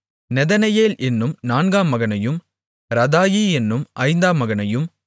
Nethaneel என்னும் நான்காம் மகனையும் ரதாயி என்னும் ஐந்தாம் மகனையும்